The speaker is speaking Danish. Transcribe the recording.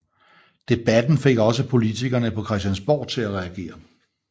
Debatten fik også politikerne på Christiansborg til at reagere